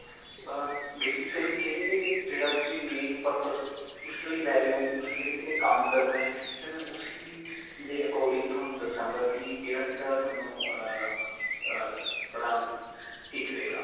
ਅਅ basically ਕਿਹੜੀ-ਕਿਹੜੀ, ਜਿਹੜਾ ਤੁਸੀਂ main purpose ਕਿਸ ਲਈ ਲੈ ਰਹੇ ਹੋ. ਮਤਲਬ ਕਿੰਨੇ-ਕਿੰਨੇ ਕੰਮ ਕਰਨਾ ਹੈ, ਫਿਰ ਮੈਂ ਉਸੀ ਦੇ according ਤੁਹਾਨੂੰ ਦੱਸਾਂਗਾ ਕਿ ਕਿਹੜਾ-ਕਿਹੜਾ ਤੁਹਾਨੂੰ ਅਅ ਅਅ ਅਪਣਾ ਠੀਕ ਰਹੇਗਾ.